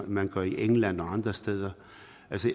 man gør i england og andre steder